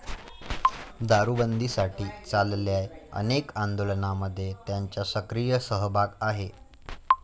दारूबंदीसाठी चाललेल्या अनेक आंदोलनांमध्ये त्यांचा सक्रीय सहभाग आहे.